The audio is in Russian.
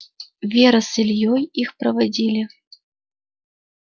вера с ильёй их проводили